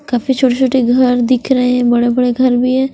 काफी छोटे छोटे घर दिख रहे है बड़े बड़े घर भी है।